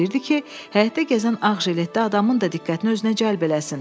O istəyirdi ki, həyətdə gəzən ağ jiletdə adamın da diqqətini özünə cəlb eləsin.